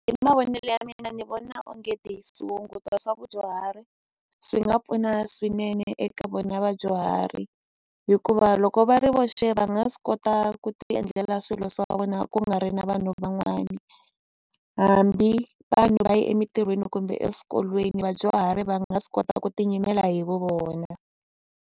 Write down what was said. Hi mavonelo ya mina ni vona onge swa vudyuhari swi nga pfuna swinene eka vona vadyuhari hikuva loko va ri voxe va nga swi kota ku ti endlela swilo swa vona ku nga ri na vanhu van'wani hambi vanhu va ye emintirhweni kumbe eswikolweni vadyuhari va nga swi kota ku tinyimela hi vu vona.